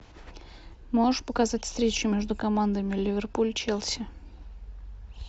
можешь показать встречу между командами ливерпуль челси